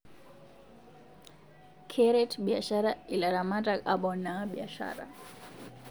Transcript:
Keret biashara ilaramatak apoona biashara